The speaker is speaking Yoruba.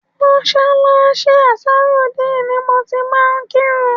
Mọ́ṣáláṣí Ansarudeen ni mo ti máa ń kírun